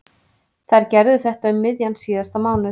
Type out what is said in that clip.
Þær gerðu þetta um miðjan síðasta mánuð.